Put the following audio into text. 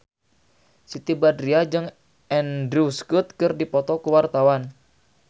Siti Badriah jeung Andrew Scott keur dipoto ku wartawan